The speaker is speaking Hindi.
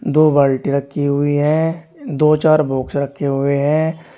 दो बाल्टी रखी हुई है दो चार बॉक्स रखे हुए हैं।